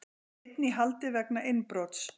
Einn í haldi vegna innbrots